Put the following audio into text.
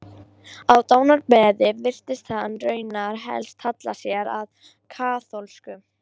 Á dánarbeði virtist hann raunar helst halla sér að kaþólsku.